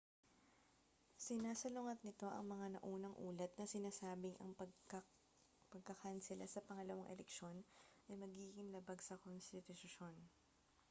sinasalungat nito ang mga naunang ulat na sinasabing ang pagkakansela sa pangalawang eleksiyon ay magiging labag sa konstitusyon